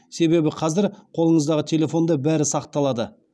себебі қазір қолыңыздағы телефонда бәрі сақталады